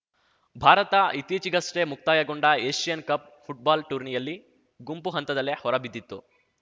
ಭಾರತ ಇತ್ತೀಚೆಗಷ್ಟೇ ಮುಕ್ತಾಯಗೊಂಡ Asian cup football ಟೂರ್ನಿಯಲ್ಲಿ ಗುಂಪು ಹಂತದಲ್ಲೇ ಹೊರಬಿದ್ದಿತ್ತು